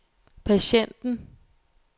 patienten